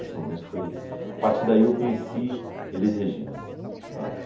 Esse momento foi... A partir daí eu conheci Elis Regina, de fato.